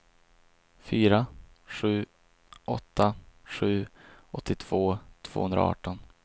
fyra sju åtta sju åttioåtta tvåhundraarton